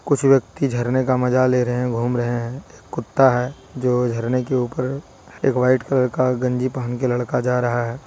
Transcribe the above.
कुछ व्यक्ति झरने का मजा ले रहे हैं घूम रहे हैं एक कुत्ता है जो झरने के ऊपर एक वाइट कलर का गंजी पहन के लड़का जा रहा है।